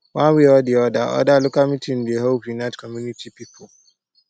one way or di oda oda local meeting dey help unite community pipo